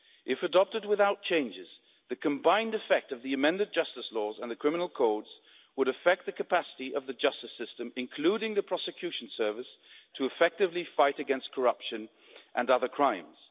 If adopted without changes, the combined effect of the amended justice laws and the criminal codes would affect the capacity of the justice system, including the prosecution service, to effectively fight against corruption and other crimes.